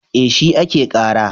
E, shi ake ƙara.